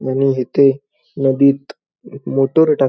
आणि हीथे नदीत मोटर टाक--